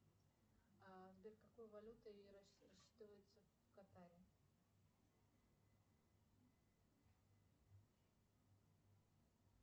сбер какой валютой рассчитываются в катаре